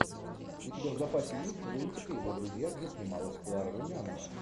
у тебя в запасе есть лунтик и его друзья где снималась клара румянова